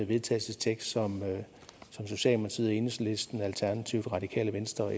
vedtagelse som socialdemokratiet enhedslisten alternativet radikale venstre